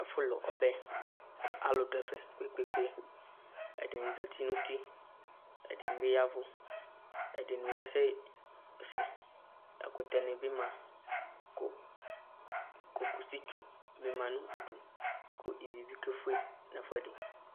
Ɛfu lu ɔbɛ Ku alu du ɛfɛ kpékpé, ɛdini zati nu uti ɛdini biyaʋu, ɛdini bia sɛsɛ Ɛkutɛ nibi mă, cocositchu ni ma nu idu ku iʋi bi ké fué nu ɛfʊɛdi